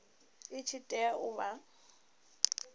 i tshi tea u vha